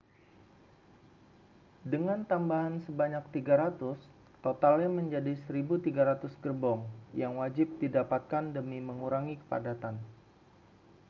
dengan tambahan sebanyak 300 totalnya menjadi 1.300 gerbong yang wajib didapatkan demi mengurangi kepadatan